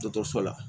Dɔ so la